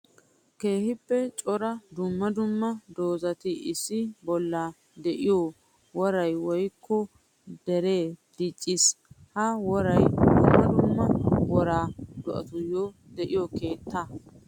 Keehippe cora dumma dumma dozatti issi bolla de'iyo woray woykko daray diccees. Ha woray dumma dumma wora do'attuyo de'iyo keetta.